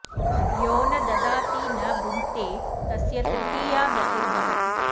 यो न ददाति न भुङ्क्ते तस्य तृतीया गतिर्भवति